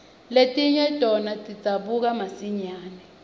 letinye tona tidzabuka masinyane